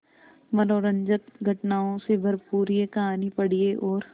मनोरंजक घटनाओं से भरपूर यह कहानी पढ़िए और